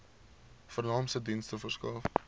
vernaamste dienste verskaf